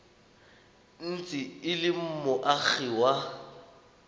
ntse e le moagi wa